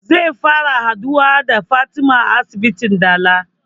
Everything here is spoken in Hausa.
Zai fara haɗuwa da fatima a asibitin dala